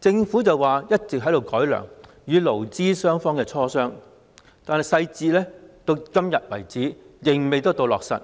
政府聲稱一直在改良，與勞資雙方磋商，但細節至今仍未落實。